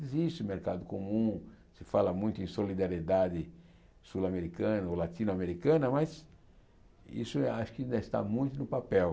Existe o mercado comum, se fala muito em solidariedade sul-americana ou latino-americana, mas isso acho que ainda está muito no papel.